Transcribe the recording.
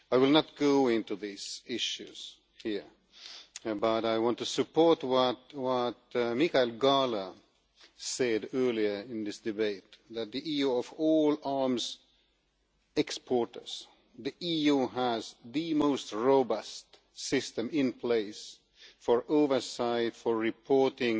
I will not go into these issues here, but I want to support what Michael Gahler said earlier in this debate, namely that, of all arms exporters, the EU has the most robust system in place for oversight and reporting,